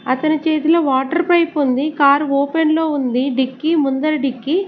అతని చేతిలో water pipe ఉంది కార్ ఓపెన్ లో ఉంది డిక్కి ముందర డిక్కి.